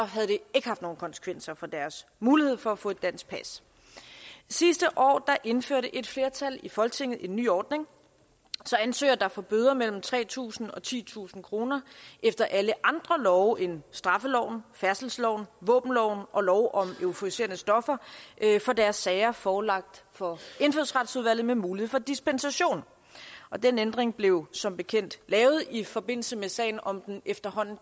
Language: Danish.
havde det ikke haft nogen konsekvenser for deres mulighed for at få et dansk pas sidste år indførte et flertal i folketinget en ny ordning så ansøgere der får bøder på mellem tre tusind og titusind kroner efter alle andre love end straffeloven færdselsloven våbenloven og lov om euforiserende stoffer får deres sager forelagt for indfødsretsudvalget med mulighed for dispensation og den ændring blev som bekendt lavet i forbindelse med sagen om den efterhånden